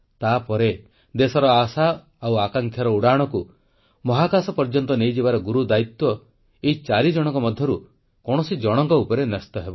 ତାପରେ ଦେଶର ଆଶା ଓ ଆକାଂକ୍ଷାର ଉଡ଼ାଣକୁ ମହାକାଶ ପର୍ଯ୍ୟନ୍ତ ନେଇଯିବାର ଗୁରୁଦାୟିତ୍ୱ ଏଇ ଚାରିଜଣଙ୍କ ମଧ୍ୟରୁ କୌଣସି ଜଣଙ୍କ ଉପରେ ନ୍ୟସ୍ତ ହେବ